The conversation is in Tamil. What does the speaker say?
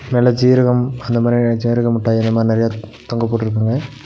மெல ஜீரகம் அந்த மாரியான ஜீரக முட்டாய் அந்த மாரி நெறையா தொங்க போட்ருக்காங்க.